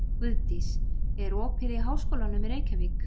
Guðdís, er opið í Háskólanum í Reykjavík?